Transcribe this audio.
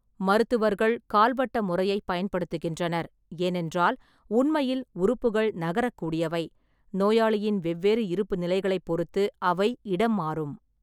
மருத்துவர்கள் கால்வட்ட முறையைப் பயன்படுத்துகின்றனர், ஏனென்றால் உண்மையில் உறுப்புகள் நகரக்கூடியவை, நோயாளியின் வெவ்வேறு இருப்புநிலைகளைப் பொறுத்து அவை இடம்மாறும்.